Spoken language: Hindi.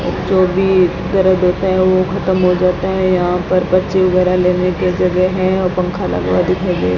जो भी इस तरह देता है ओ खत्म हो जाता है यहां पर बच्चे वगैरा लेने के जगह है और पंखा लगा हुआ दिखाई दे रहा --